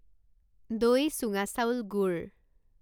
দৈ চুঙা চাউল গুড়